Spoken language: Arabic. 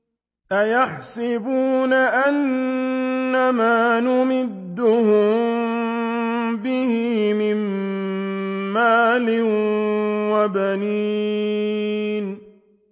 أَيَحْسَبُونَ أَنَّمَا نُمِدُّهُم بِهِ مِن مَّالٍ وَبَنِينَ